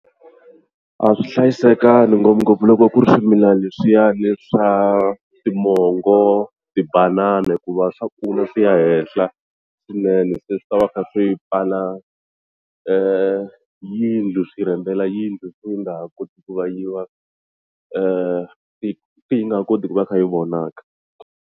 A swi hlayisekangi ngopfungopfu loko ku ri swimilani leswiyani swa timongo tibanana hikuva swa kula swi ya henhla swinene se ni swi ta va kha swi pfala yindlu swi rhendzela yindlu se yi nga ha koti ku va yi va se se yi nga ha koti ku va yi kha yi vonaka.